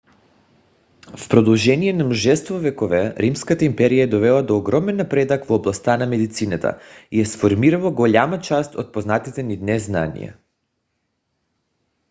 в продължение на множество векове римската империя е довела до огромен напредък в областта на медицината и е сформирала голяма част от познатите ни днес знания